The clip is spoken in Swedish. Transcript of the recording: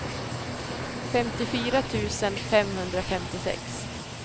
femtiofyra tusen femhundrafemtiosex